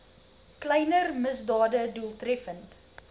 kleiner misdade doeltreffend